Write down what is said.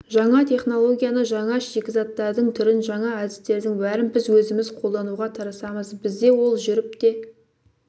жаңа технологияны жаңа шикізаттардың түрін жаңа әдістердің бәрін біз өзіміз қолдануға тырысамыз бізде ол жүріп те